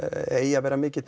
eigi að vera mikið